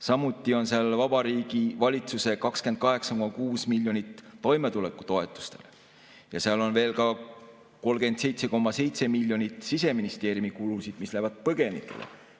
Samuti on seal Vabariigi Valitsuse kuludest 28,6 miljonit toimetulekutoetustele ja seal on veel ka 37,7 miljonit Siseministeeriumi kulusid, mis lähevad põgenikele.